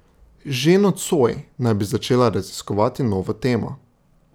Že nocoj naj bi začela raziskovati novo temo.